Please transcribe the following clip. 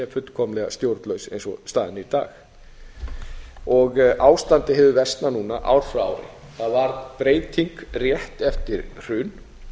fullkomlega stjórnlaus eins og staðan er í dag ástandi hefur versnað núna ár frá ári það varð breyting rétt eftir hrun